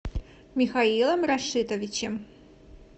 михаилом рашитовичем